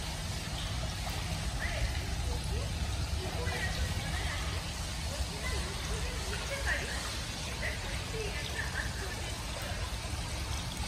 আমার একজন বন্ধু কি করে এত অনায়াসে অচেনা লোকজনের মিশতে পারে, সেটা সত্যিই একটা আশ্চর্যের বিষয়।